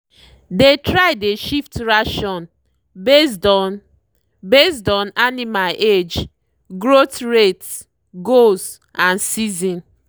they try dey shift ration based on based on animal age growth rate goals and season.